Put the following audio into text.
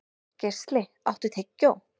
Geisli, áttu tyggjó?